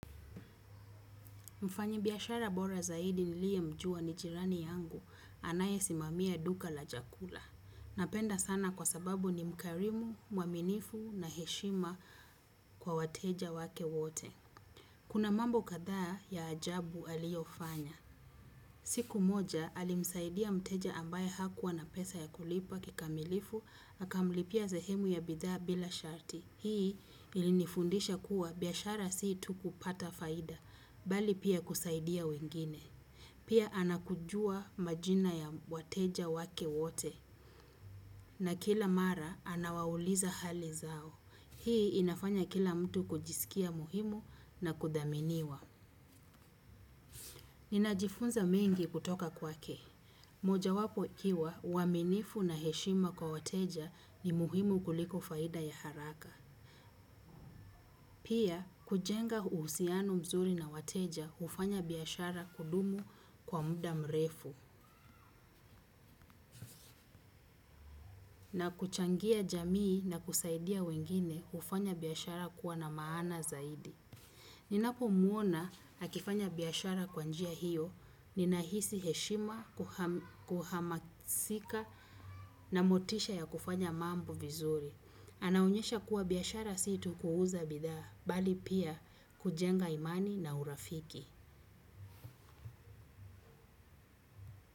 Mfanyabiashara bora zaidi niliyemjua ni jirani yangu anayesimamia duka la chakula. Napenda sana kwa sababu ni mkarimu, mwaminifu na mwenye heshima kwa wateja wake wote. Kuna mambo kadhaa ya ajabu aliyofanya. Siku moja alimsaidia mteja ambaye hakuwa na pesa ya kulipa kikamilifu, akamlipia sehemu ya bidhaa bila sharti. Hii ilinifundisha kuwa biashara si tu kupata faida, bali pia kusaidia wengine. Pia anajua majina ya wateja wake wote, na kila mara anawauliza hali zao. Hii inafanya kila mtu kujisikia muhimu na kudaminiwa. Ninajifunza mengi kutoka kwake. Moja wapo ikiwa, uaminifu na heshima kwa wateja ni muhimu kuliko faida ya haraka. Pia, kujenga uhusiano mzuri na wateja hufanya biyashara kudumu kwa muda mrefu. Na kuchangia jamii, na kusaidia wengine hufanya biashara kuwa na maana zaidi. Ninapomwona akifanya biashara kwa njia hiyo, ninahisi heshima, kuhamasika na motisha ya kufanya mambo vizuri. Anaonyesha kuwa biashara si tu kuuza bidhaa, bali pia kujenga imani na urafiki.